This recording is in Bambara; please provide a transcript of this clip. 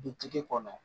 Dutigi kɔnɔ